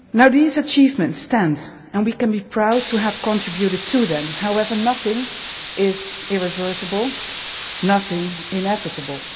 These achievements stand and we can be proud to have contributed to them. However, nothing is irreversible, nothing inevitable.